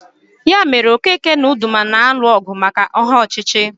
Ya mere Okeke na Udoma na-alụ ọgụ maka aha ọchịchị